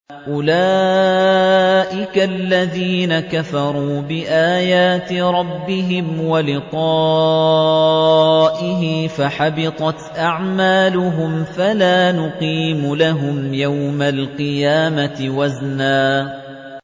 أُولَٰئِكَ الَّذِينَ كَفَرُوا بِآيَاتِ رَبِّهِمْ وَلِقَائِهِ فَحَبِطَتْ أَعْمَالُهُمْ فَلَا نُقِيمُ لَهُمْ يَوْمَ الْقِيَامَةِ وَزْنًا